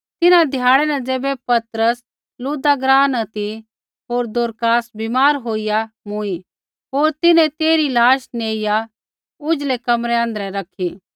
तिन्हां ध्याड़ै न ज़ैबै पतरस लुद्दा ग्राँ न ती होर दोरकास बीमार होईया मूँई होर तिन्हैं तेइरी लाश नहाइआ ऊझलै कमरै आँध्रै रैखी